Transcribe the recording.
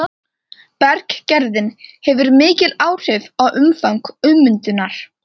Berggerðin hefur mikil áhrif á umfang ummyndunar.